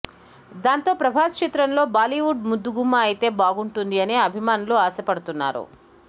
దాంతో ప్రభాస్ చిత్రంలో బాలీవుడ్ ముద్దుగుమ్మ అయితే బాగుంటుంది అని అభిమానులు ఆశ పడుతున్నారు